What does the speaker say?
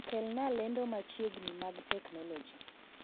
Kelnaa lendo machiegni mag teknoloji